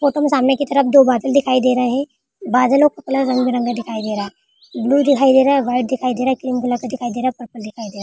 Photo मे सामने की तरफ बादल दिखाई दे रहे है बादलों का कलर रंग बिरंगा दिखाई दे रहा है ब्लू दिखाई दे रहा है व्हाइट दिखाई दे रहा है ग्रीन दिखाई दे रहा है परपल दिखाई दे रहा हैं।